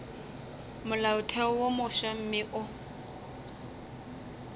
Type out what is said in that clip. molaotheo wo mofsa mme o